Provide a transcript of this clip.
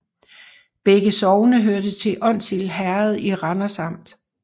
Begge sogne hørte til Onsild Herred i Randers Amt